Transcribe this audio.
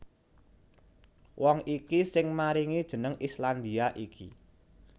Wong iki sing maringi jeneng Islandia iki